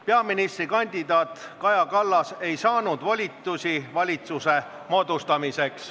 Peaministrikandidaat Kaja Kallas ei saanud volitusi valitsuse moodustamiseks.